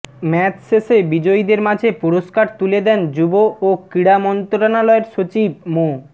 match শেষে বিজয়ীদের মাঝে পুরস্কার তুলে দেন যুব ও ক্রীড়া মন্ত্রণালয়ের সচিব মো